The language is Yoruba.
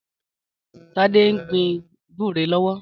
Tade n gbin gbùré lọwọ